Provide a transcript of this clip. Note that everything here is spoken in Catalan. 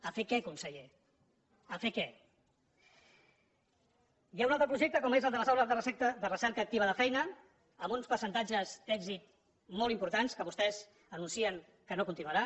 a fer què conseller a fer què hi ha un altre projecte com és el de les aules de recerca activa de feina amb uns percentatges d’èxit molt importants que vostès anuncien que no continuarà